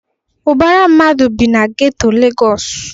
Ubara mmadụ bi na geto Legosu